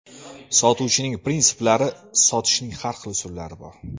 Sotuvchining prinsiplari Sotishning har xil usullari bor.